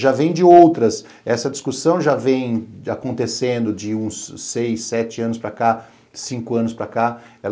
Já vem de outras, essa discussão já vem acontecendo de uns seis, sete anos para cá, cinco anos para cá.